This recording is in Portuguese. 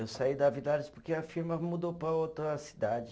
Eu saí da Villares porque a firma mudou para outra cidade.